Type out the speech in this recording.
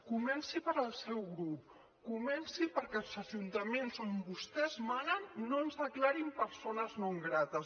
comenci pel seu grup comenci perquè als ajuntaments on vostès manen no ens declarin persones no grates